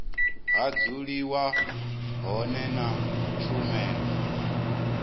ha dzuliwa hone na tshumelo